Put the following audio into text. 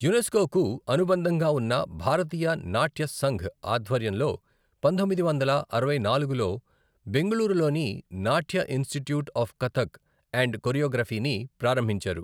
UNESCO కు అనుబంధంగా ఉన్న భారతీయ నాట్య సంఘ్ ఆధ్వర్యంలో పంతొమ్మిది వందల అరవై నాలుగులో బెంగళూరులోని Natya institute of Kathak and కొరియోగ్రఫీని ప్రారంభించారు.